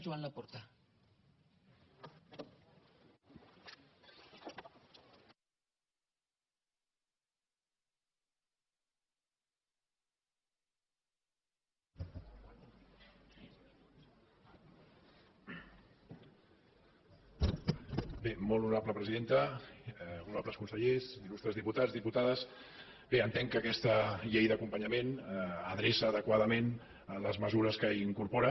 honorables consellers il·lustres diputats diputades entenc que aquesta llei d’acompanyament adreça adequadament les mesures que hi incorpora